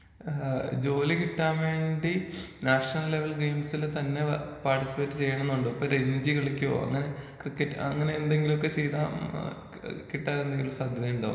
ആ ജോലി കിട്ടാൻ വേണ്ടി നാഷണൽ ലെവൽ ഗെയിംസിൽ തന്നെ പാർട്ടിസിപ്പേറ്റ് ചെയ്യണമെന്നുണ്ടോ? ഇപ്പോ രഞ്ജി കളിക്കോ അങ്ങനെ ക്രിക്കറ്റ് അങ്ങനെ എന്തെങ്കിലൊക്കെ ചെയ്താ ആ കി ഏ കിട്ടാൻ എന്തെങ്കിലും സാധ്യതയുണ്ടോ?